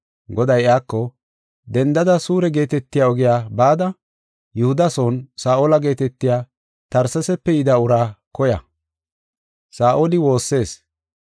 Goday iyako, “Dendada Suure geetetiya ogiya bada, Yihuda son Saa7ola geetetiya Tarsesape yida uraa koya; Saa7oli woossees.